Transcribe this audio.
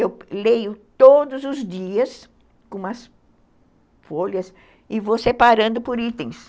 Eu leio todos os dias com umas folhas e vou separando por itens.